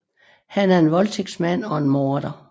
Han er en voldtægtsmand og en morder